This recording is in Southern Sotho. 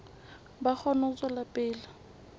ba kgone ho tswela pele